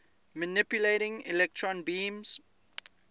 manipulating electron beams